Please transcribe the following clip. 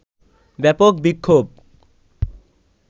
ব্যাপক বিক্ষোভ